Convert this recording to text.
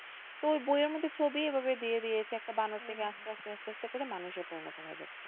তো বইয়ের মধ্যে ছবি ওই ভাবে দিয়ে দিয়েছে যে একটা বানর থেকে আস্তে আস্তে আস্তে করে মানুষে পরিনত হয়ে যাচ্ছে,